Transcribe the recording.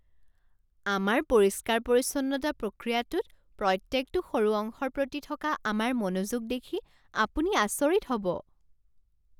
আমাৰ পৰিষ্কাৰ পৰিচ্ছন্নতা প্ৰক্ৰিয়াটোত প্ৰত্যেকটো সৰু অংশৰ প্ৰতি থকা আমাৰ মনোযোগ দেখি আপুনি আচৰিত হ'ব।